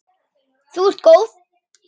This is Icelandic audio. Þú ert góð!